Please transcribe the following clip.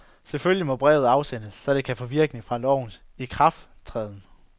Selvfølgelig må brevet afsendes, så det kan få virkning fra lovens ikrafttræden.